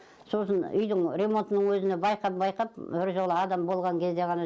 сосын үйдің ремонтының өзіне байқап байқап бір жола адам болған кезде ғана